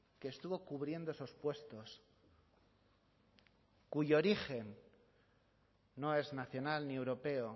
que estuvo cubriendo esos puestos cuyo origen no es nacional ni europeo